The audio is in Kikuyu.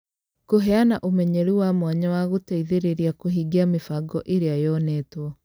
Kũheana ũmenyeru wa mwanya wa gũteithĩrĩria kũhingia mĩbango ĩrĩa yonetwo